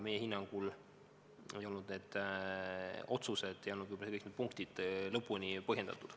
Meie hinnangul ei olnud need otsused ja kõik need punktid võib-olla lõpuni põhjendatud.